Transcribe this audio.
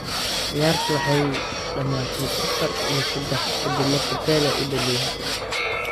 Ciyaartii waxay dhamaatay afar iyo sadex, kadib markii Pele uu dhaliyay hat-trick.